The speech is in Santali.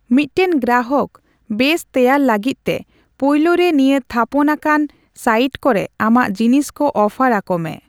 ᱢᱤᱫᱴᱮᱱ ᱜᱨᱟᱦᱚᱠ ᱵᱮᱥ ᱛᱮᱭᱟᱨ ᱞᱟᱹᱜᱤᱫ ᱛᱮ ᱯᱩᱭᱞᱩ ᱨᱮ ᱱᱤᱭᱟᱹ ᱛᱷᱟᱯᱚᱱ ᱟᱠᱟᱱ ᱥᱟᱭᱤᱴ ᱠᱚᱨᱮ ᱟᱢᱟᱜ ᱡᱤᱱᱤᱥ ᱠᱚ ᱚᱯᱷᱟᱨ ᱟᱠᱚᱢᱮ ᱾